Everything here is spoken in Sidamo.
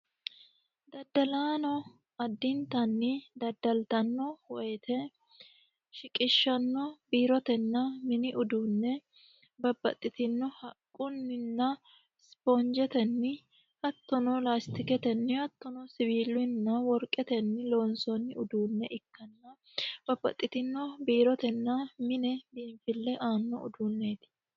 Daddalaano addinitanni daddaliytanno woyte shiqishanno biirotenna mini uduunne babbaxitinno haqqunninna isipoonijetenni hattono laazitiketenni hattoni siwiilunni hattono woriqetenni koonisoonni uduune ikka no babbaxitinno biirotenna mine biinifille aanno uduuneeti yaate